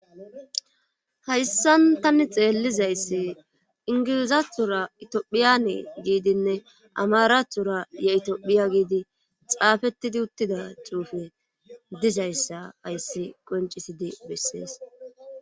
hayssan tani xeellizayssi ingilizatura itiyophiyane giidinne amarathora ye itophiya giidi xaafettidi uttida tuufe dizayssa hayssi qoncisidi bessees